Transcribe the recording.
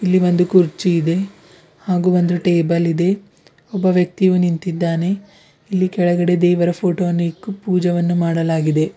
ಇಲ್ಲಿ ಒಂದು ಕುರ್ಚಿ ಇದೆ ಹಾಗೂ ಒಂದು ಟೇಬಲ್ ಇದೆ ಒಬ್ಬ ವ್ಯಕ್ತಿಯು ನಿಂತಿದ್ದಾನೆ ಇಲ್ಲಿ ಕೆಳಗಡೆ ದೇವರ ಫೋಟೋ ಇಕ್ಕಿ ಪೂಜವನ್ನು ಮಾಡಲಾಗಿದೆ.